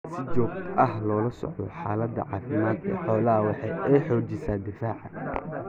In si joogta ah loola socdo xaalada caafimaad ee xooluhu waxa ay xoojisaa difaaca.